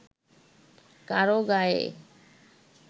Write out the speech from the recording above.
কারও গায়ে